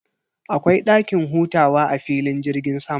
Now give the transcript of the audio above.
Akwai dakin hutawa a filin jirgin sama.